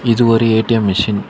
இது ஒரு ATM machine .